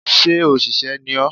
Sé òsèré ni ọ́?